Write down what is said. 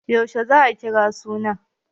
Yaushe za a kira suna?